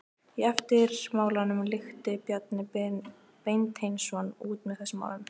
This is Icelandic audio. Í eftirmálanum klykkti Bjarni Beinteinsson út með þessum orðum